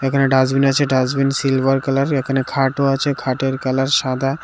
এখানে ডাস্টবিন আছে dustbin silver colour এখানে খাটও আছে খাটের কালার সাদা।